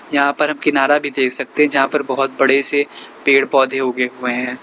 यहां पर हम किनारा भी देख सकते हैं जहां पर बहोत बड़े से पेड़ पौधे उगे हुए हैं।